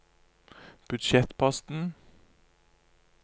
budsjettposten